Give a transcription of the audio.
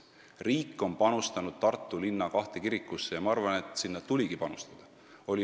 Riik on panustanud Tartu linna kahte kirikusse ja ma arvan, et nii tuligi teha.